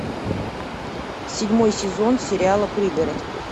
седьмой сезон сериала пригород